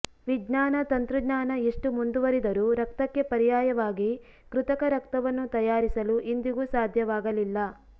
ವಿಜ್ಞಾನ ತಂತ್ರಜ್ಞಾನ ಎಷ್ಟು ಮುಂದುವರಿದರೂ ರಕ್ತಕ್ಕೆ ಪರ್ಯಾಯವಾಗಿ ಕೃತಕರಕ್ತವನ್ನು ತಯಾರಿಸಲು ಇಂದಿಗೂ ಸಾಧ್ಯವಾಗಲಿಲ್ಲ